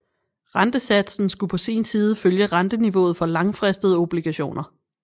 Rentesatsen skulle på sin side følge renteniveauet for langfristede obligationer